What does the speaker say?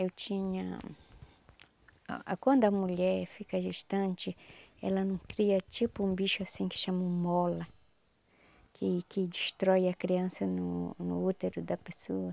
Eu tinha... Quando a mulher fica gestante, ela não cria tipo um bicho assim que chamam mola, que que destrói a criança no no útero da pessoa.